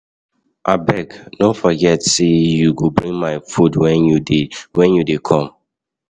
Abeg, na forget sey you go bring my food wen you dey come.